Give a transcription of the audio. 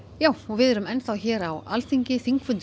við erum enn hér á Alþingi